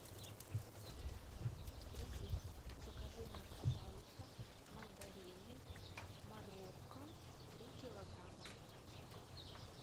привет закажи мне пожалуйста мандарины марокко три килограмма